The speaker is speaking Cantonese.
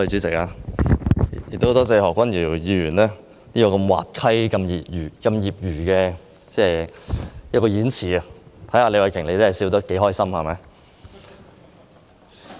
代理主席，感謝何君堯議員如此滑稽的演辭，看看李慧琼議員笑得多麼開心。